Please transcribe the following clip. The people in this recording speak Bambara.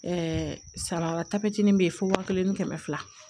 saratapitin bɛ ye fo wa kelen ni kɛmɛ fila